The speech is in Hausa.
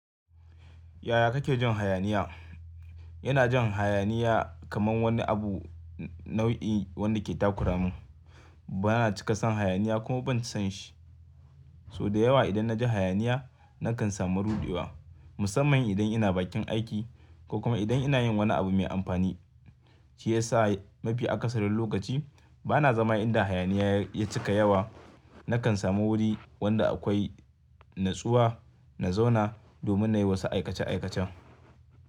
Yaya kake jin hayaniya? Ina jin hayaniya kaman wani abu nau'i wanda ke takuramin. Bana cika son hayaniya kuma ban son shi. So da yawa idan na ji hayaniya nakan samu ruɗewa, musamman idan ina bakin aiki ko kuma idan ina yin wani abu mai amfani shiyasa mafi akasarin lokaci bana zama inda hayaniya ya cika yawa. Nakan samu wuri wanda akwai natsuwa na zauna domin na yi wasu aikace aikacen.